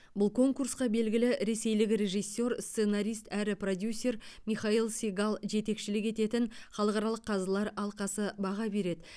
бұл конкурсқа белгілі ресейлік режиссер сценарист әрі продюсер михаил сегал жетекшілік ететін халықаралық қазылар алқасы баға береді